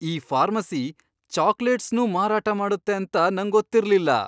ಈ ಫಾರ್ಮಸಿ ಚಾಕ್ಲೇಟ್ಸ್ನೂ ಮಾರಾಟ ಮಾಡತ್ತೆ ಅಂತ ನಂಗೊತ್ತಿರ್ಲಿಲ್ಲ!